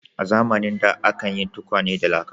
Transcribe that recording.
A zamanin da akan yin tukwane da laka.